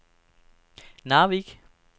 Narvik